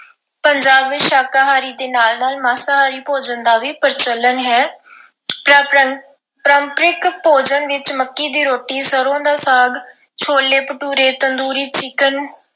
ਪੰਜਾਬ ਵਿੱਚ ਸ਼ਾਕਾਹਾਰੀ ਦੇ ਨਾਲ-ਨਾਲ ਮਾਸਾਹਾਰੀ ਭੋਜਨ ਦਾ ਵੀ ਪ੍ਰਚਲਨ ਹੈ। ਪਰੰਪ ਅਹ ਪਰੰਪਰਿਕ ਭੋਜਨ ਵਿੱਚ ਮੱਕੀ ਦੀ ਰੋਟੀ, ਸਰ੍ਹੋਂ ਦਾ ਸਾਗ, ਛੋਲੇ ਭਟੂਰੇ, ਤੰਦੂਰੀ chicken